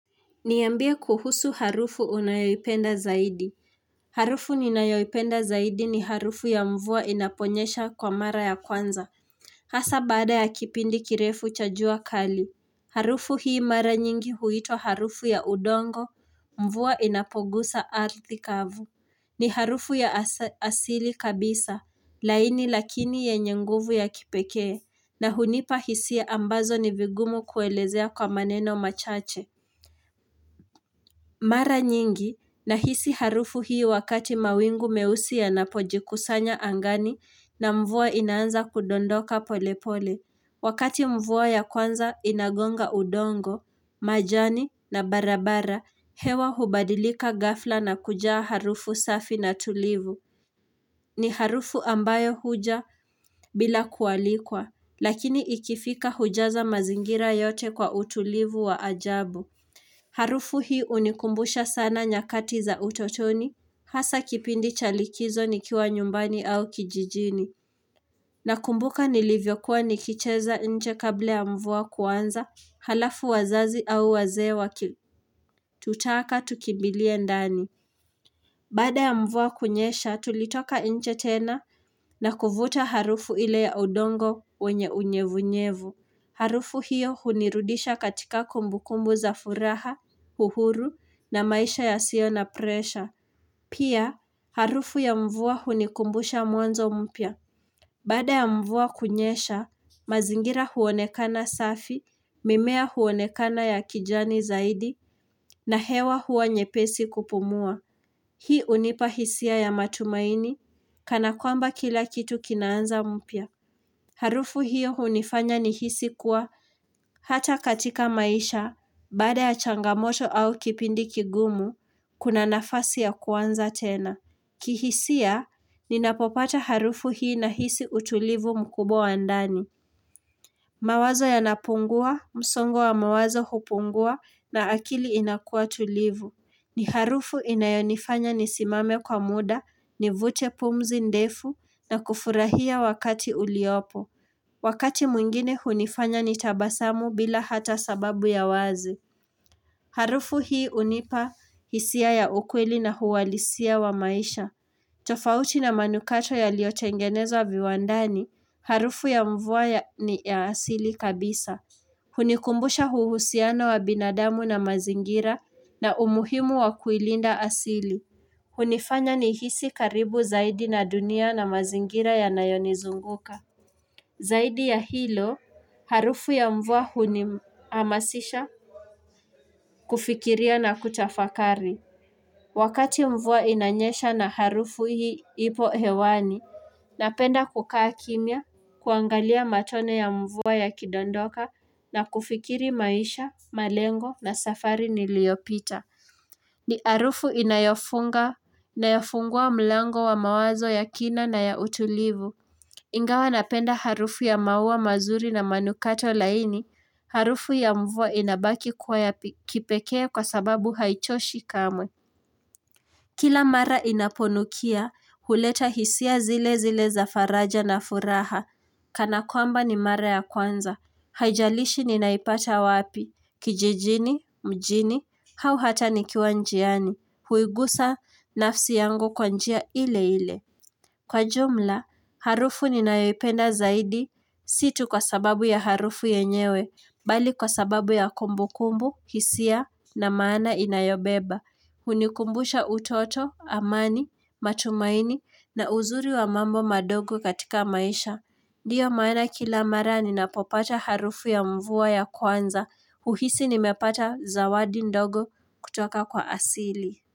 Niambie kuhusu harufu unayoipenda zaidi. Harufu ninayoipenda zaidi ni harufu ya mvua inaponyesha kwa mara ya kwanza. Hasa baada ya kipindi kirefu cha jua kali. Harufu hii mara nyingi huitwa harufu ya udongo Mvua inapogusa ardhi kavu. Ni harufu ya as asili kabisa. Laini lakini yenye nguvu ya kipekee, na hunipa hisia ambazo ni vigumu kuelezea kwa maneno machache. Mara nyingi, nahisi harufu hii wakati mawingu meusi yanapojikusanya, angani na mvua inaanza kudondoka polepole. Wakati mvua ya kwanza inagonga udongo, majani na barabara, hewa hubadilika ghafla na kujaa harufu safi na tulivu. Ni harufu ambayo huja bila kualikwa, lakini ikifika hujaza mazingira yote kwa utulivu wa ajabu. Harufu hii unikumbusha sana nyakati za utotoni, hasa kipindi cha likizo nikiwa nyumbani au kijijini. Nakumbuka nilivyokuwa nikicheza nje kabla ya mvua kuanza, halafu wazazi au wazee waki tutaka tukimbilie ndani. Baada ya mvua kunyesha, tulitoka nje tena na kuvuta harufu ile ya udongo wenye unyevunyevu. Harufu hiyo hunirudisha katika kumbukumbu za furaha, uhuru, na maisha ya sio na presha. Pia, harufu ya mvua hunikumbusha mwanzo mpya. Bada ya mvua kunyesha, mazingira huonekana safi, mimea huonekana ya kijani zaidi, na hewa huwa nyepesi kupumua. Hii unipa hisia ya matumaini, kana kwamba kila kitu kinaanza mpya. Harufu hiyo hunifanya nihisi kuwa hata katika maisha, baada ya changamoto au kipindi kigumu, kuna nafasi ya kwanza tena. Kihisia, ninapopata harufu hii na hisi utulivu mkubwa wa ndani. Mawazo yanapungua, msongo wa mawazo hupungua na akili inakua tulivu. Ni harufu inayonifanya nisimame kwa muda, nivute pumzi ndefu na kufurahia wakati uliopo. Wakati mwingine hunifanya nitabasamu bila hata sababu ya wazi. Harufu hii unipa hisia ya ukweli na huwalisia wa maisha. Tofauti na manukato yaliotengenezwa viwandani, harufu ya mvua ni ya asili kabisa. Hunikumbusha huhusiano wa binadamu na mazingira na umuhimu wa kuilinda asili. Hunifanya nihisi karibu zaidi na dunia na mazingira yanayonizunguka. Zaidi ya hilo, harufu ya mvua huni amasisha, kufikiria na kutafakari. Wakati mvua inanyesha na harufu hii ipo hewani, napenda kukaa kimya, kuangalia matone ya mvua yakidondoka na kufikiri maisha, malengo na safari niliyopita. Ni harufu inayofunga, inayafungua mlango wa mawazo ya kina na ya utulivu. Ingawa napenda harufu ya maua mazuri na manukato laini, harufu ya mvua inabaki kwa yapi kipeke kwa sababu haichoshi kamwe. Kila mara inaponukia, huleta hisia zile zile za faraja na furaha, kana kwamba ni mara ya kwanza. Haijalishi ninaipata wapi, kijijini, mjini, hau hata ni kiwa njiani, huigusa nafsi yangu kwa njia ile ile. Kwa jumla, harufu ninayopenda zaidi, si tu kwa sababu ya harufu yenyewe, bali kwa sababu ya kumbu kumbu, hisia na maana inayobeba. Hunikumbusha utoto, amani, matumaini na uzuri wa mambo madogo katika maisha. Dio maana kila mara ninapopata harufu ya mvua ya kwanza, uhisi nimepata zawadi ndogo kutoka kwa asili.